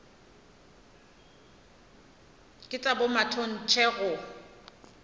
ke tša bomatontshe ba go